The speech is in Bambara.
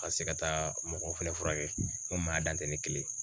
Ka se ka taa mɔgɔ fɛnɛ furakɛ ŋo maa dan tɛ ne kelen ye.